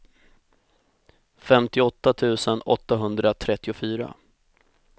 femtioåtta tusen åttahundratrettiofyra